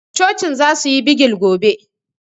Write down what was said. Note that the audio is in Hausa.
Cocin za su yi bigil gobe